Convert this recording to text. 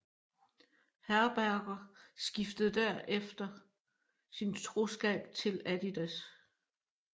Herberger skiftede herefter sin troskab til Adidas